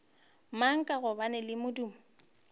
mang ka gobane le modumo